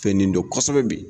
Fɛn nin dɔn kosɛbɛ bi